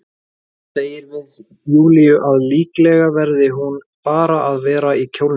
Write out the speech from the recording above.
Segir við Júlíu að líklega verði hún bara að vera í kjólnum.